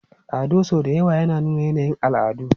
Ado sau da yawa yana nuna yanayin al'adu.